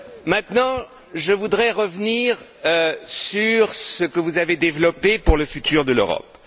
Maintenant je voudrais revenir sur ce que vous avez développé pour le futur de l'Europe.